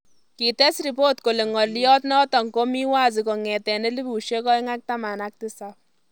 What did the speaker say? Kites ripot kole ng'olyot notok komii wazi kong'etee 2017